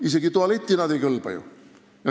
Isegi tualetti nad ju ei kõlba.